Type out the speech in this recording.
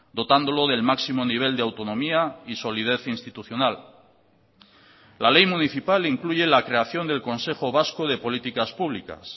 dotándolo del máximo nivel de autonomía y solidez institucional la ley municipal incluye la creación del consejo vasco de políticas públicas